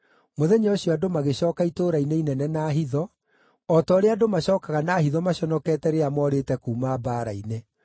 Mũthenya ũcio andũ magĩcooka itũũra-inĩ inene na hitho, o ta ũrĩa andũ macookaga na hitho maconokete rĩrĩa moorĩte kuuma mbaara-inĩ.